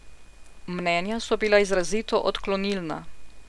Mnenja so bila izrazito odklonilna.